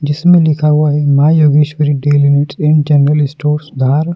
जिसमें लिखा हुआ है Maa Yogeshwari daily needs and general stores Dhar.